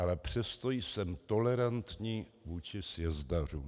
Ale přesto jsem tolerantní vůči sjezdařům.